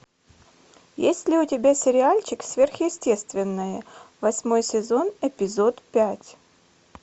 есть ли у тебя сериальчик сверхъестественное восьмой сезон эпизод пять